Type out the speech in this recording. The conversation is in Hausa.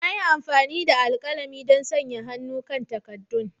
Na yi amfani da alkalami don sanya hannu kan takaddun.